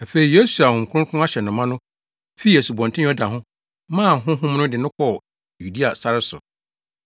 Afei Yesu a Honhom Kronkron ahyɛ no ma no fii Asubɔnten Yordan ho maa Honhom no de no kɔɔ Yudea sare so.